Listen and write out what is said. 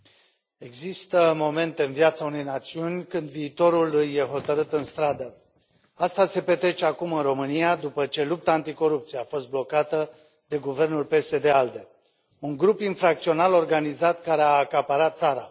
Domnule președinte, există momente în viața unei națiuni când viitorul îi este hotărât în stradă. Aceasta se petrece acum în România, după ce lupta anticorupție a fost blocată de guvernul PSD ALDE, un grup infracțional organizat care a acaparat țara.